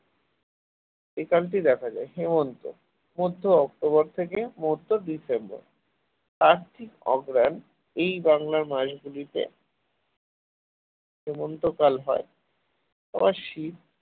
এই কালটি দেখা যায় হেমন্ত মধ্য অক্টোবর থেকে মধ্য ডিসেম্বর এই বাংলার কার্তিক অঘ্রান মাস গুলিতে হেমন্তকাল হয় আর শীত